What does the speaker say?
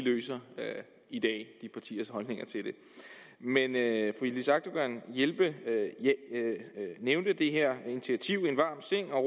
i det men da yildiz akdogan nævnte det her initiativ en varm seng og